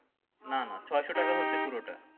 না না ছয়শো টাকা হচ্ছে পুরোটা